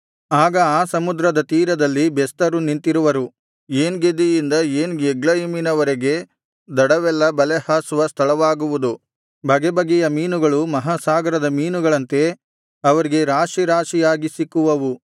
ಆಗ ಆ ಸಮುದ್ರದ ತೀರದಲ್ಲಿ ಬೆಸ್ತರು ನಿಂತಿರುವರು ಏನ್ ಗೆದಿಯಿಂದ ಏನ್ ಎಗ್ಲಯಿಮಿನವರೆಗೆ ದಡವೆಲ್ಲಾ ಬಲೆ ಹಾಸುವ ಸ್ಥಳವಾಗುವುದು ಬಗೆಬಗೆಯ ಮೀನುಗಳು ಮಹಾಸಾಗರದ ಮೀನುಗಳಂತೆ ಅವರಿಗೆ ರಾಶಿ ರಾಶಿಯಾಗಿ ಸಿಕ್ಕುವವು